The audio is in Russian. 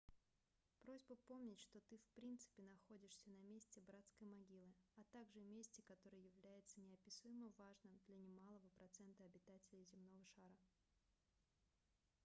просьба помнить что ты в принципе находишься на месте братской могилы а также месте которое является неописуемо важным для немалого процента обитателей земного шара